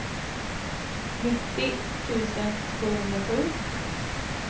nittio tusen sjuhundrasju